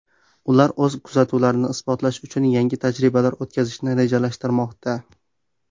Ular o‘z kuzatuvlarini isbotlash uchun yangi tajribalar o‘tkazishni rejalashtirmoqda.